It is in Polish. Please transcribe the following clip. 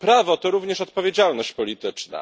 Prawo to również odpowiedzialność polityczna.